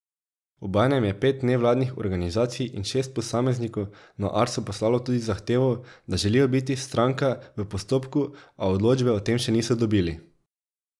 Obenem je pet nevladnih organizacij in šest posameznikov na Arso poslalo tudi zahtevo, da želijo biti stranka v postopku, a odločbe o tem še niso dobili.